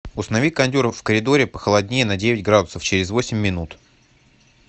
установи кондер в коридоре похолоднее на девять градусов через восемь минут